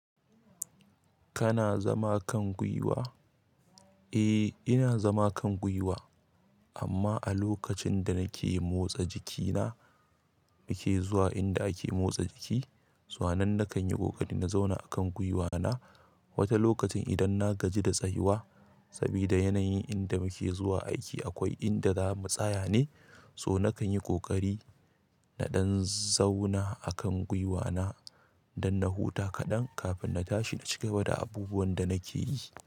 Kana zama kan gwiwa? Eh, ina zama kan gwiwa, amma a lokacin da nake motsa jikina, muke zuwa inda ake motsa jiki, sannan nakan yi ƙoƙari na zauna akan gwiwa na. Wata lokacin idan na gaji da tsayuwa sabida yanayin inda muke zuwa aiki akwai inda zamu tsaya ne, so na kan yi ƙoƙari na ɗan zauna akan gwiwa na dan na huta kaɗan kafin na tashi na cigaba da abubuwan da nake yi.